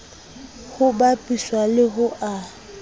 ho bapiswa le ho a